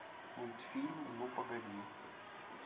мультфильм ну погоди